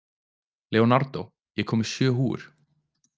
Leonardo, ég kom með sjö húfur!